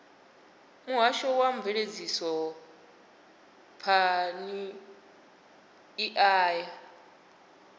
muhasho wa mveledzisophan ḓa ya